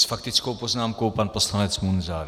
S faktickou poznámkou pan poslanec Munzar.